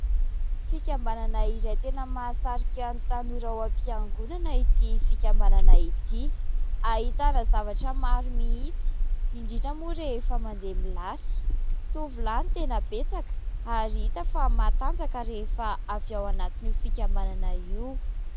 Fikambanana iray tena mahasarika ny tanora ao am-piangonana ity fikambanana ity. Ahitana zavatra maro mihitsy, indrindra moa rehefa mandeha milasy. Tovolahy no tena betsaka ary hita fa matanjaka rehefa avy ao anatin'io fikambanana io.